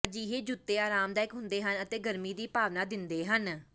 ਅਜਿਹੇ ਜੁੱਤੇ ਆਰਾਮਦਾਇਕ ਹੁੰਦੇ ਹਨ ਅਤੇ ਗਰਮੀ ਦੀ ਭਾਵਨਾ ਦਿੰਦੇ ਹਨ